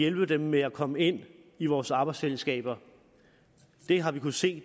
hjælpe dem med at komme ind i vores arbejdsfællesskaber vi har kunnet se